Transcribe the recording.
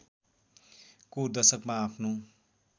को दशकमा आफ्नो